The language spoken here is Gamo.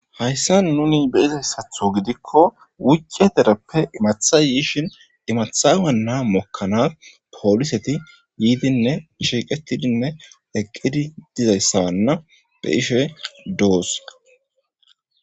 hayssa nuni be izayssatho gidikko wuccie dereppe imatha yiishin imathawanna mokkanas pooliseti yiidinne shiiqetidinne eqqidi dizayssabanna be ishey doos.